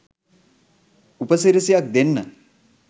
උපසිරසියක් දෙන්න